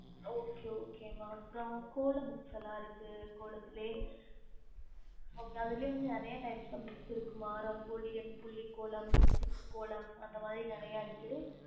okey okay ம அப்றம் கோலம் இருக்கு கோலத்துள்ள நேரிய TIPE BOOKS இருக்கு ரங்கோலி புலிக்கோலம் இருக்கு